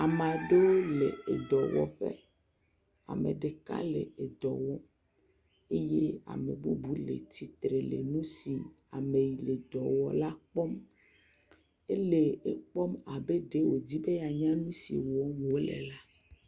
Ame aɖewo le edɔwɔƒe, ame ɖeka le edɔ wɔm, eye ame bubu le tsitre le nu si ame yi le dɔ wɔm la kpɔm, ele ekpɔm abe ɖe wòdi be yeanya nu si wɔm wòle la.